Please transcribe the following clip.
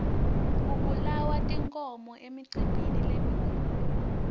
kubulawa tinkhomo emicimbini lemikhulu